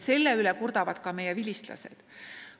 Selle üle kurdavad ka meie vilistlased.